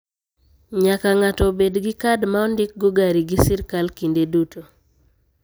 Nyaka ng'ato obed gi kad ma ondik go gari gi sirkal kinde duto.